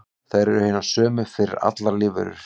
Þær eru hinar sömu fyrir allar lífverur.